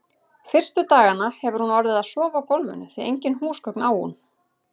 Fyrstu dagana hefur hún orðið að sofa á gólfinu, því engin húsgögn á hún.